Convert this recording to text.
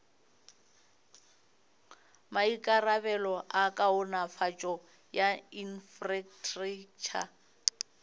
maikarabelo a kaonafatšo ya infrastraktšha